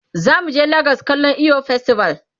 zamu je legas kallan eyo festival